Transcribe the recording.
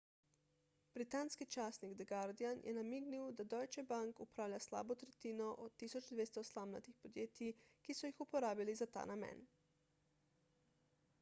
britanski časnik the guardian je namignil da deutsche bank upravlja slabo tretjino od 1200 slamnatih podjetij ki so jih uporabili za ta namen